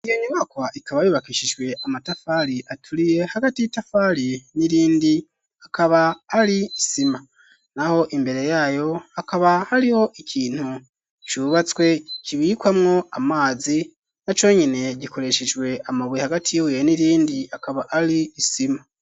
Iyo nyubakwa ikaba yubakishijwe amatafari aturiye ,hagati y’itafari n'irindi hakaba hari sima naho imbere yayo hakaba hariho ikintu cubatswe kibikwamwo amazi na co nyene gikoreshejwe amabuye ,hagati yibuye n'irindi hakaba hari sima.